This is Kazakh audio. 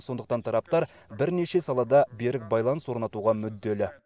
сондықтан тараптар бірнеше салада берік байланыс орнатуға мүдделі